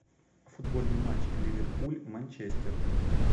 футбольный матч ливерпуль манчестер